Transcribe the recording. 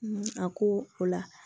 a ko o la